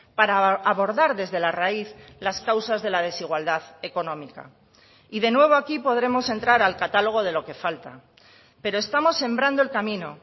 para abordar desde la raíz las causas de la desigualdad económica y de nuevo aquí podremos entrar al catálogo de lo que falta pero estamos sembrando el camino